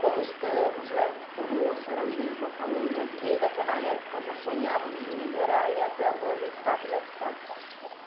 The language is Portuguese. como estamos né , como a senhora mesma falou nas, desde aquela época já sonhávamos em melhorar e até hoje está como é que está.